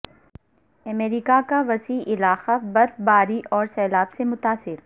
امریکہ کا وسیع علاقہ برف باری اور سیلاب سے متاثر